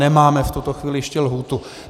Nemáme v tuto chvíli ještě lhůtu.